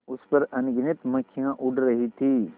उस पर अनगिनत मक्खियाँ उड़ रही थीं